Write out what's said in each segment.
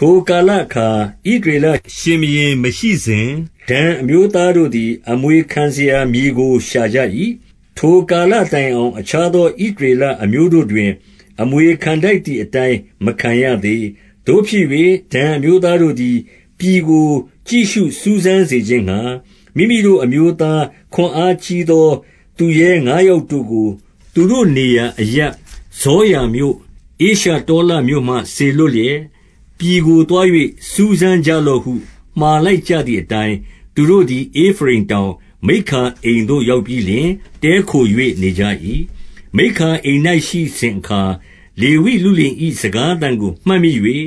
ထိုကာလအခါ ဣသရေလရှင်ဘုရင် မရှိစဉ်၊ ဒန်အမျိုးသားတို့သည် အမွေခံစရာမြေကို ရှာကြ၏။ ထိုကာလတိုင်အောင် အခြားသော ဣသရေလအမျိုးတို့တွင်၊ အမွေခံထိုက်သည် အတိုင်းမခံရသေး။ 2 သို့ဖြစ်၍ ဒန်အမျိုးသားတို့သည် ပြည်ကို ကြည့်ရှုစူးစမ်းစေခြင်းငှါ မိမိတို့ အမျိုးသား ခွန်အားကြီး သော သူရဲငါးယောက်တို့ကို သူတို့နေရာအရပ် ဇောရာမြို့၊ ဧရှတောလမြို့မှ စေလွှတ်လျက်၊ ပြည်ကို သွား၍ စူးစမ်းကြလော့ဟု မှာလိုက်ကြသည်အတိုင်း၊ သူတို့သည် ဧဖရိမ်တောင်၊ မိက္ခာအိမ်သို့ ရောက် ပြီးလျှင် တည်းခို၍ နေကြ၏။ 3 မိက္ခာအိမ်၌ ရှိစဉ်အခါ၊ လေဝိလုလင်၏ စကားသံကို မှတ်မိ၍၊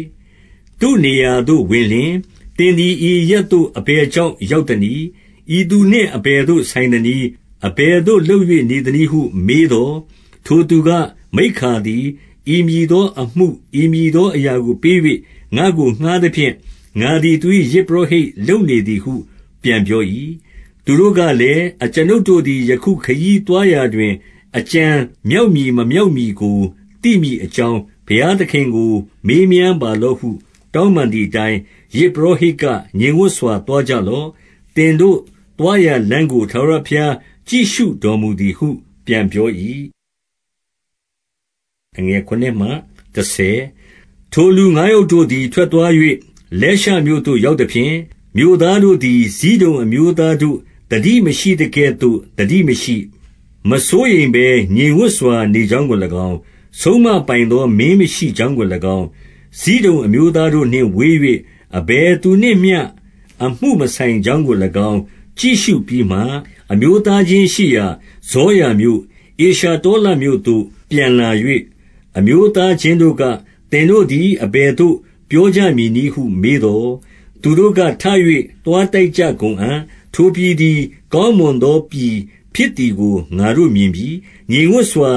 သူ့နေရာသို့ ဝင်လျှင်၊ သင်သည် ဤအရပ်သို့ အဘယ်ကြောင့် ရောက်သနည်း။ ဤသူနှင့် အဘယ်သို့ ဆိုင်သနည်း။ အဘယ်သို့ လုပ်၍ နေသနည်းဟု မေးသော်၊- 4 ထိုသူက၊ မိက္ခာသည် ဤမည်သောအမှု ဤမည်သော အရာကို ပေး၍ ငါ့ကို ငှါးသဖြင့်၊ ငါသည် သူ၏ ယဇ်ပုရောဟိတ် လုပ်နေသည်ဟု ပြန်ပြော၏။ 5 သူတို့ကလည်း၊ အကျွန်ုပ်တို့သည် ယခု ခရီးသွားရာတွင် အကြံမြောက်မည် မမြောက်မည်ကို သိမည် အကြောင်း ဘုရားသခင်ကို မေးမြန်းပါလော့ဟု တောင်းပန်သည်အတိုင်း၊- 6 ယဇ်ပုရောဟိတ်က ငြိမ်ဝပ်စွာသွားကြလော့။ သင်တို့ သွားရာလမ်းကို ထာဝရဘုရား ကြည့်ရှုတော် မူသည်ဟု ပြန်ပြော၏။ 7 ထိုလူ ငါးယောက်တို့သည် ထွက်သွား၍ လဲရှမြို့သို့ ရောက်သဖြင့်၊ မြို့သားတို့သည် ဇိဒုန် အမျိုးသား တို့ သတိမရှိသကဲ့သို့ သတိမရှိ၊ မစိုးရိမ်ဘဲ ငြိမ်ဝပ်စွာ နေကြောင်းကို၎င်း၊ ဆုံးမပိုင်သော မင်းမရှိ ကြောင်းကို၎င်း၊ ဇိဒုန်အမျိုးသားတို့နှင့် ဝေး၍ အဘယ်သူနှင့်မျှ အမှုမဆိုင်ကြောင်းကို၎င်း ကြည့်ရှု ပြီးမှ၊- 8 အမျိုးသားချင်းရှိရာ ဇောရာမြို့၊ ဧရှတောလမြို့သို့ ပြန်လာ၍ အမျိုးသားချင်းတို့က၊ သင်တို့သည် အဘယ်သို့ ပြောကြမည်နည်းဟု မေးသော်၊- 9 သူတို့က၊ ထ၍ သွားတိုက်ကြကုန်အံ့၊ ထိုပြည်သည် ကောင်းမွန်သော ပြည်ဖြစ်သည်ကို ငါတို့ မြင်ပြီ။ ငြိမ်ဝပ်စွာ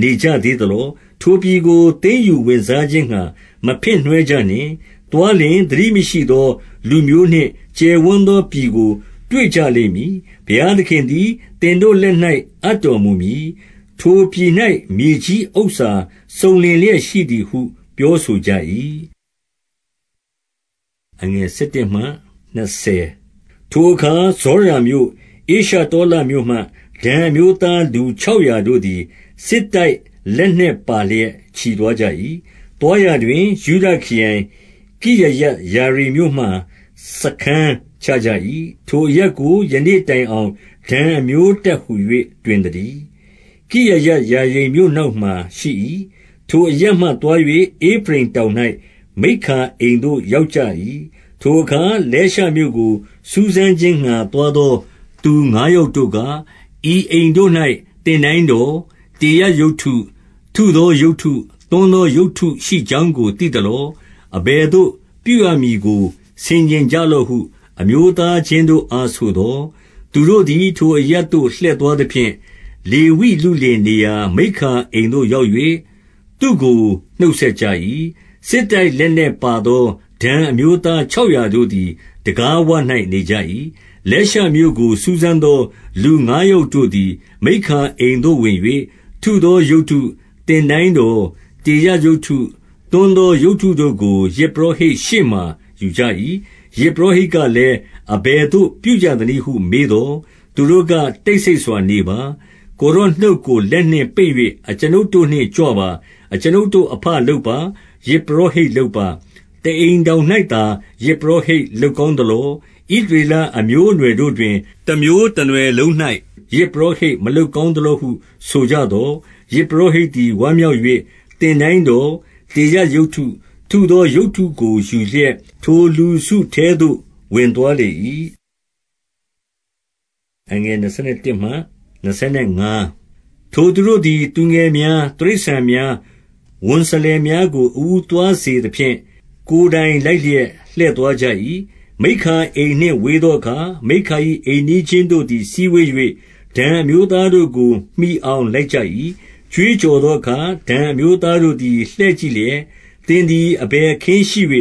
နေကြသေးသလော။ ထိုပြည်ကို သိမ်းယူဝင်စားခြင်းငှါ မဖင့်နွှဲကြနှင့်။ 10 သွားလျှင် သတိမရှိသောလူမျိုးနျင့် ကျယ်ဝန်းသော ပြည်ကို တွေ့ကြလိမ့်မည်။ ဘုရားသခင်သည် သင်တို့လက်၌ အပ်တော်မူမည်။ ထိုပြည်၌ မြေကြီးဥစ္စာ စုံလင်လျက်ရှိသည်ဟု ပြောဆိုကြ၏။ 11 ထိုအခါ ဇောရာမြို့၊ ဧရှတောလမြို့မှ ဒန်အမျိုးသား လူခြောက်ရာတို့သည် စစ်တိုက်လက်နက် ပါလျက် ချီသွားကြ၏။ 12 သွားရာတွင်၊ ယုဒခရိုင် ကိရယတ်ယာရိမ်မြို့မှာ စားခန်းချကြ၏။ ထိုအရပ်ကို ယနေ့တိုင်အောင် ဒန်အမျိုးတပ်ဟူ၍ တွင်သတည်း။ ကိရယတ်ယာရိမ်မြို့ နောက်မှာရှိ၏။ 13 ထိုအရပ်မှ သွား၍ ဧဖရိမ်တောင်၌ မိက္ခာအိမ်သို့ ရောက်ကြ၏။ 14 ထိုအခါ လဲရှမြို့ကို စူးစမ်းခြင်းငှါ သွားသော သူငါးယောက်တို့က၊ ဤအိမ်တို့၌ သင်တိုင်းတော်၊ တေရပ်ရုပ်တု၊ ထုသောရုပ်တု၊ သွန်းသောရုပ်တုရှိကြောင်းကို သိသလော။ အဘယ်သို့ ပြုရမည်ကို ဆင်ခြင်ကြလော့ဟု အမျိုးသားချင်းတို့အားဆိုသော်၊- 15 သူတို့သည် ထိုအရပ်သို့ လှည့်သွားသဖြင့်၊ လေဝိလုလင်နေရာ မိက္ခာအိမ်သို့ရောက်၍ သူ့ကို နှုတ် ဆက်ကြ၏။ 16 စစ်တိုက်လက်နက်ပါသော ဒန်အမျိုးသား ခြောက်ရာတို့သည် တံခါးဝ၌ နေကြ၏။ 17 လဲရှမြို့ကို စူးစမ်းသော လူငါးယောက်တို့သည် မိက္ခာအိမ်သို့ ဝင်၍၊ 18 ထုသောရုပ်တု၊ သင်တိုင်းတော်၊ တေရပ်ရုပ်တု၊ သွန်းသောရုပ်တုတို့ကို ယဇ်ပုရောဟိတ်ရှေ့မှာ ယူကြ၏။ ယဇ်ပုရောဟိတ်ကလည်း၊ အဘယ်သို့ ပြုကြသနည်းဟု မေးသော်၊- 19 သူတို့က တိတ်ဆိတ်စွာနေပါ။ ကိုယ်တော်နှုတ်ကို လက်နှင့်ပိတ်၍ အကျွန်ုပ်တို့နှင့် ကြွပါ။ အကျွန်ုပ်တို့ အဘလုပ်ပါ။ ယဇ်ပုရောဟိတ် လုပ်ပါ။ တအိမ်ထောင်၌သာ ယဇ်ပုရောဟိတ် လုပ်ကောင်းသလော။ ဣသရေလအမျိုးအနွှယ်တို့တွင် တမျိုးတနွယ် လုံး၌ ယဇ်ပုရောဟိတ် မလုပ်ကောင်းသလောဟု ဆိုကြသော်၊ 20 ယဇ်ပုရောဟိတ်သည် ဝမ်းမြောက်၍ သင်တိုင်းတော်၊ တေရပ်ရုပ်တု၊ ထုသောရုပ်တုကို ယူလျက်၊ ထိုလူစုထဲသို့ ဝင်သွားလေ၏။ 21 ထိုသူတို့သည် သူငယ်များ၊ တိရစ္ဆာန်များ၊ ဝန်စလယ်များကို အဦးသွားစေသဖြင့် ကိုယ်တိုင် လိုက်လျက် လှည့်သွားကြ၏။ 22 မိက္ခာအိမ်နှင့် ဝေးသောအခါ၊ မိက္ခာ၏ အိမ်နီးချင်းတို့သည် စည်းဝေး၍၊ ဒန်အမျိုးသားတို့ကို မှီ အောင် လိုက်ကြ၏။ 23 ကြွေးကြော်သောအခါ၊ ဒန်အမျိုးသားတို့သည် လှည့်ကြည့်လျက် သင်သည် အဘယ်အခင်းရှိ၍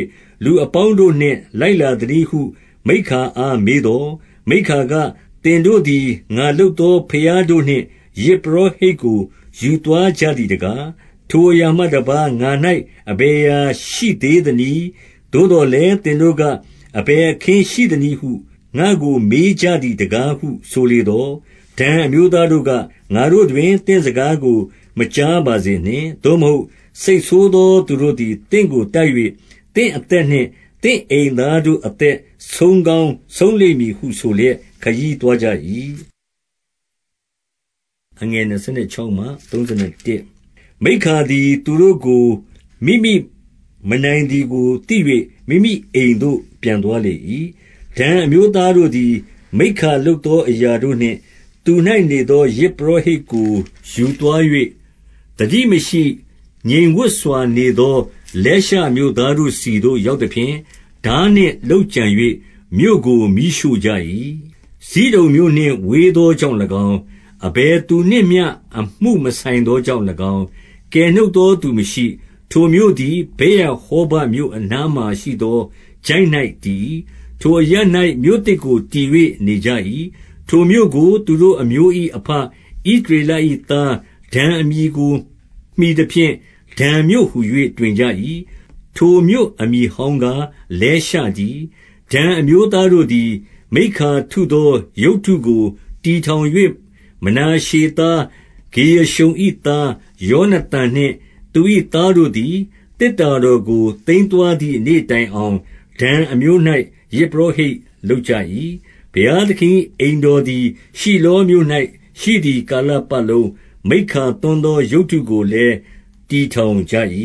လူအပေါင်းတို့နှင့် လိုက်လာသနည်းဟု မိက္ခာအားမေးသော်၊- 24 မိက္ခာက၊ သင်တို့သည် ငါလုပ်သော ဘုရားတို့နှင့် ယဇ်ပုရောဟိတ်ကို ယူသွားကြသည်တကား။ ထိုအရာမှတပါး ငါ၌ အဘယ်အရာရှိသနည်း။ သို့သော်လည်း သင်တို့က၊ အဘယ်အခင်း ရှိသနည်း ဟု ငါ့ကို မေးကြသည်တကားဟု ဆိုသော်၊- 25 ဒန်အမျိုးသားတို့က၊ ငါတို့တွင် သင့်စကားကို မကြားပါစေနှင့်။ သို့မဟုတ် စိတ်ဆိုးသော သူတို့သည် သင့်ကို တိုက်၍ သင့်အသက်နှင့်သင့်အိမ်သားတို့ အသက်ဆုံးကောင်းဆုံးလိမ့်မည်ဟု ဆိုလျက် ခရီးသွားကြ၏။ 26 မိက္ခာသည် သူတို့ကို မိမိမနိုင်သည်ကိုသိ၍ မိမိအိမ်သို့ ပြန်သွားလေ၏။ 27 ဒန်အမျိုးသားတို့သည်၊ မိက္ခာလုပ်သော အရာတို့နှင့် သူ၌နေသော ယဇ်ပုရောဟိတ်ကို ယူသွား၍၊ သတိမရှိ ငြိမ်ဝပ်စွာနေသော လဲရှမြို့သားတို့ဆီသို့ ရောက်သဖြင့် ထားနှင့်လုပ်ကြံ၍ မြို့ကို မီးရှို့ ကြ၏။ 28 ဇိဒုန်မြို့နှင့်ဝေးသောကြောင့်၎င်း၊ အဘယ်သူနှင့်မျှ အမှုမဆိုင်သောကြောင့်၎င်း၊ ကယ်နှုတ်သော သူမရှိ။ ထိုမြို့သည် ဗက်ရဟောဘမြို့အနားမှာရှိသော ချိုင့်၌ တည်၏။ ထိုအရပ်၌ မြို့သစ်ကိုတည်၍ နေကြ၏။ 29 ထိုမြို့ကို သူတို့အမျိုး၏ အဘဣသရေလ၏ သားဒန်အမည်ကို မှီသဖြင့် ဒန်မြို့ဟူ၍ တွင်ကြ၏။ ထိုမြို့ အမည်ဟောင်းကား လဲရှတည်း။ 30 ဒန်အမျိုးသားတို့သည် မိက္ခာထုသောရုပ်တုကို တည်ထောင်၍ မနာရှေသား ဂေရရှုံ၏သား ယောနသန်နှင့် သူ၏သားတို့သည် သေတ္တာတော်ကို သိမ်းသွားသည့်နေ့တိုင်အောင် ဒန်အမျိုး၌ ယဇ်ပုရောဟိတ် လုပ်ကြ၏။ 31 ဘုရားသခင်၏ အိမ်တော်သည် ရှိလောမြို့၌ ရှိသည်ကာလပတ်လုံး၊ မိက္ခာသွန်းသော ရုပ်တုကိုလည်း တည်ထောင်ကြ၏။